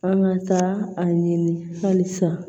An ka taa a ɲini halisa